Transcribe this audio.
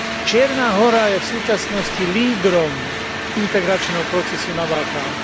Čierna Hora je v súčasnosti lídrom integračného procesu na Balkáne.